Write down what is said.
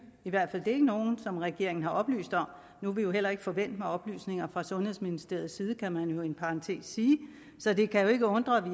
i hvert fald ikke nogen som regeringen har oplyst om nu er vi jo heller ikke forvænt med oplysninger fra sundhedsministeriets side kan man i en parentes sige så det kan ikke undre at